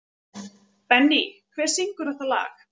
Benný, hver syngur þetta lag?